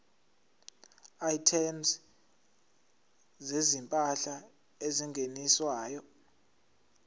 items zezimpahla ezingeniswayo